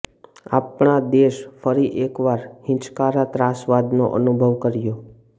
આપણા દેશે ફરી એકવાર હીચકારા ત્રાસવાદનો અનુભવ કર્યો